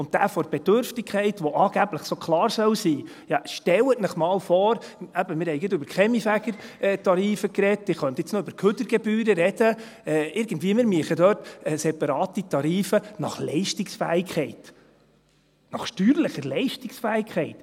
Und das von der Bedürftigkeit, das angeblich so klar sein soll, ja stellen Sie sich einmal vor – eben, wir haben gerade über die Kaminfegertarife gesprochen, ich könnte jetzt noch über die Kehrichtgebühren sprechen –, wir würden dort irgendwie separate Tarife nach Leistungsfähigkeit machen, nach steuerlicher Leistungsfähigkeit!